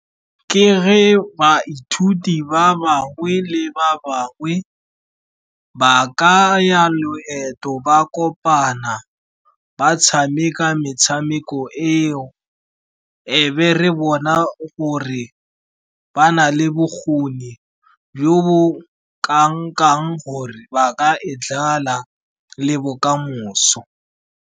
Ke ge baithuti ba bangwe le ba bangwe ba ka ya loeto ba kopana, ba tshameka metshameko eo, e be re bona gore ba na le bokgoni jo bo kang-kang gore ba ka e dlala le bokamoso.